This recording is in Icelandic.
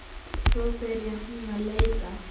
Svo byrjaði hún að leita.